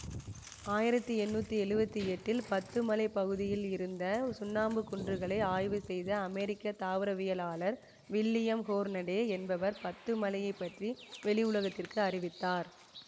ஆயிரத்தி எண்ணூற்றி எழுவத்தி எட்டில் பத்துமலைப் பகுதிகளில் இருந்த சுண்ணாம்புக் குன்றுகளை ஆய்வு செய்த அமெரிக்க தாவரவியலாளர் வில்லியம் ஹோர்னடே என்பவர் பத்துமலையைப் பற்றி வெளியுலகத்திற்கு அறிவித்தார்